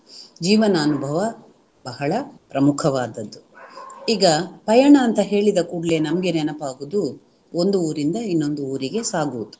ಜೀವನ ಅನುಭವ ಬಹಳ ಪ್ರಮುಖವಾದದ್ದು. ಈಗ ಪಯಣ ಅಂತ ಹೇಳಿದ ಕೂಡಲೇ ನಮ್ಗೆ ನೆನಪಾಗುವುದು ಒಂದು ಊರಿಂದ ಇನ್ನೊಂದು ಊರಿಗೆ ಸಾಗುವುದು